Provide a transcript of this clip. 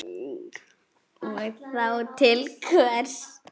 Og þá til hvers?